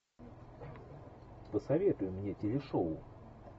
посоветуй мне телешоу